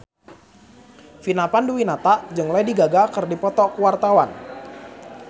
Vina Panduwinata jeung Lady Gaga keur dipoto ku wartawan